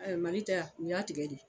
A Mali tɛ wa, u y'a tigɛ de